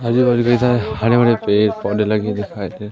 आजू बाजू कई सारे हरे भरे पेड़ पौधे लगे दिखाई दे रहे--